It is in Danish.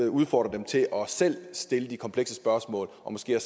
udfordre dem til selv at stille de komplekse spørgsmål og måske